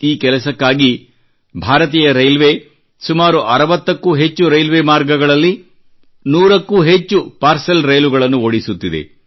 ಈ ಕೆಲಸಕ್ಕಾಗಿ ಭಾರತೀಯ ರೈಲ್ವೆ ಸುಮಾರು 60 ಕ್ಕೂ ಹೆಚ್ಚು ರೈಲ್ವೆ ಮಾರ್ಗಗಳಲ್ಲಿ 100 ಕ್ಕೂ ಹೆಚ್ಚು ಪಾರ್ಸೆಲ್ ರೈಲುಗಳನ್ನು ಓಡಿಸುತ್ತಿದೆ